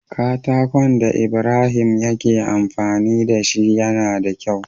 Katakon da ibrahim yake amfani dashi yAna da kyau